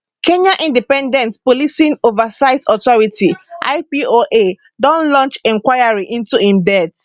kenya independent policing oversight authority ipoa don launch inquiry into im death